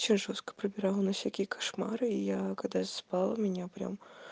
все жёстко прибирала на всякие кошмары и я когда спала меня прям